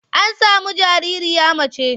An sami jaririya mace.